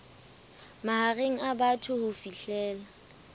mahareng a phato ho fihlela